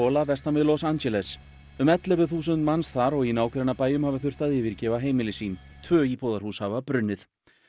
Paula vestan við Los Angeles um ellefu þúsund manns þar og í nágrannabæjum hafa þurft að yfirgefa heimili sín tvö íbúðarhús hafa brunnið